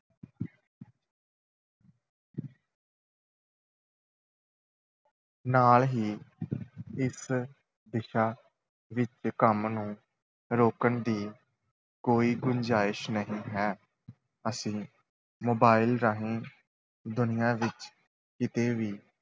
ਨਾਲ ਹੀ ਇਸ ਦਿਸ਼ਾ ਵਿੱਚ ਕੰਮ ਨੂੰ ਰੋਕਣ ਦੀ ਕੋਈ ਗੁੰਜਾਇਸ਼ ਨਹੀਂ ਹੈ, ਅਸੀਂ mobile ਰਾਹੀਂ ਦੁਨੀਆਂ ਵਿੱਚ ਕਿਤੇ ਵੀ